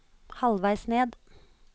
halvveis ned